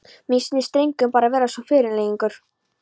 Mér sýnist drengurinn bara vera svo fyrirgengilegur.